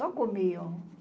Só comiam.